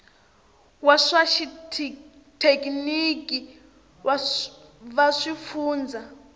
va swa xithekiniki va swifundzha